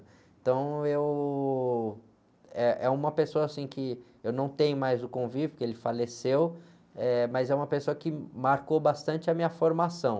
Então, eu... Eh, é uma pessoa, assim, que eu não tenho mais o convívio, porque ele faleceu, eh, mas é uma pessoa que marcou bastante a minha formação.